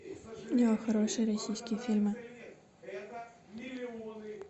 хорошие российские фильмы